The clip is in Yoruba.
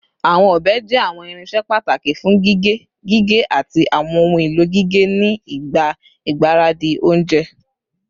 Awọn ọbẹ jẹ awọn irinṣẹ pataki fun gige, gige, ati awọn ohun elo gige ni igba igbaradi ounjẹ